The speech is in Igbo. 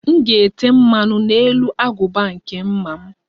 M ga-ete mmanụ n'elu agụba nke mma m